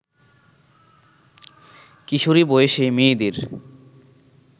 কিশোরী বয়সে মেয়েদের